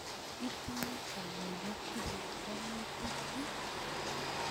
Itinye kamuget iyai kwang'utuk ii?